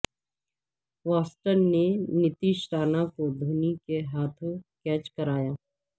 Watson نے نتیش رانا کو دھونی کے ہاتھوں کیچ کرایا